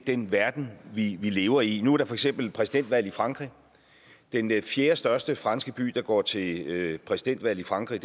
den verden vi vi lever i nu er der for eksempel præsidentvalg i frankrig og den fjerdestørste franske by der går til præsidentvalg i frankrig